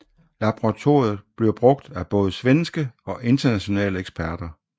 Laboratoriet bliver brugt af både svenske og internationale eksperter